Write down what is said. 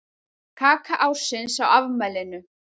Kaka ársins á afmælinu